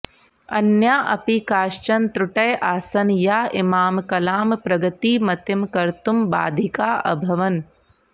अन्या अपि काश्चन त्रुटय आसन् या इमां कलां प्रगतिमतीं कर्तुं बाधिका अभवन्